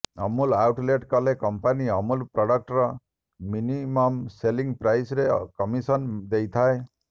Amul outlet କଲେ company Amul ପ୍ରଡକ୍ଟର minimum selling ପ୍ରାଇସରେ କମିଶନ ଦେଇଥାଏ